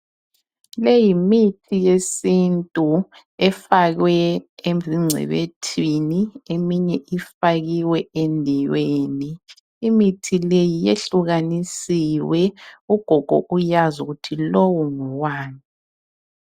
Leyimithi yesintu efakwe ezingcebethwini, eminye ifakiwe endiweni, imithi leyi yahlukanisiwe, ugogo uyazi ukuthi lowu ngowani